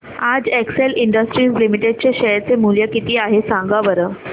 आज Excel industries limited चे share चे मूल्य किती आहे सांगा बरं